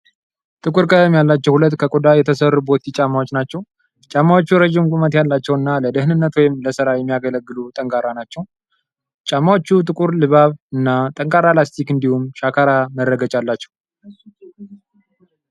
ጥቁር ቀለም ያላቸው ሁለት ከቆዳ የተሰሩ ቦቲ ጫማዎች ናቸው። ጫማዎቹ ረዥም ቁመት ያላቸው እና ለደህንነት ወይም ለስራ የሚያገለግሉ ጠንካራ ናቸው። ጫማዎቹ ጥቁር ልባብ እና ጠንካራ ላስቲክ እንዲሁም ሻካራ መረገጫ አላቸው።